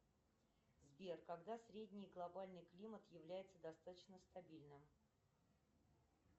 сбер когда средний глобальный климат является достаточно стабильным